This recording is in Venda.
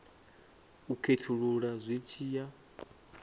u khethulula zwi tshi ya